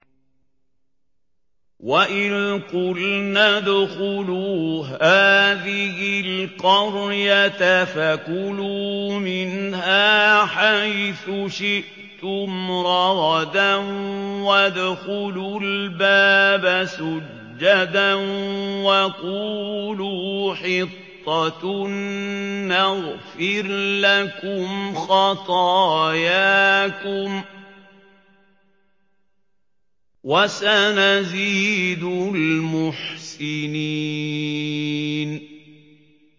وَإِذْ قُلْنَا ادْخُلُوا هَٰذِهِ الْقَرْيَةَ فَكُلُوا مِنْهَا حَيْثُ شِئْتُمْ رَغَدًا وَادْخُلُوا الْبَابَ سُجَّدًا وَقُولُوا حِطَّةٌ نَّغْفِرْ لَكُمْ خَطَايَاكُمْ ۚ وَسَنَزِيدُ الْمُحْسِنِينَ